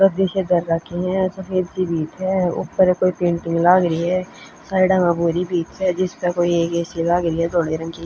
गद्दे से धर राखे ह सफेद सी भीत हं ऊपर कोई पेंटिंग लाग री हसाइडा म भूरी भीत स जिसपे कोई एक ए_सी लाग री ह धोले रंग की।